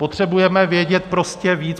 Potřebujeme vědět prostě víc.